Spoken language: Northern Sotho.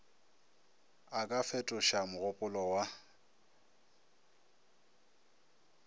a ka fetoša mogopolo wa